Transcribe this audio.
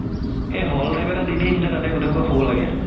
এই hall type এটা দি দিয়ে তাতে গুতেই সুপা শুব লাগে